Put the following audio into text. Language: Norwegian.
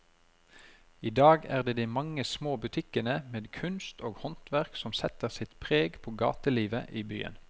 I dag er det de mange små butikkene med kunst og håndverk som setter sitt preg på gatelivet i byen.